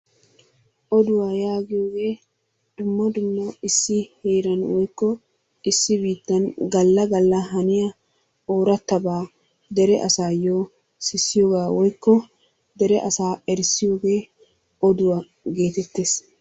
Odduwa yaagiyoogee dumma dumma issi heeran woykko issi biittan galla galla haniya ooratabaa dere asaayo sissiyoga woykko dere asaa erissiyoogee odduwa geetettees.